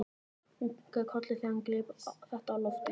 Hún kinkaði kolli þegar hann greip þetta á lofti.